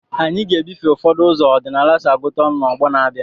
Anyị ga-ebufe ụfọdụ ụzọ ọdịnala si agụta ọnụ n'ọgbọ na-abịa.